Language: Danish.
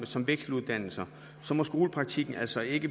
som vekseluddannelser må skolepraktikken altså ikke